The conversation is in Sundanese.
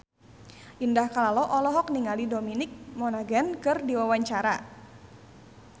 Indah Kalalo olohok ningali Dominic Monaghan keur diwawancara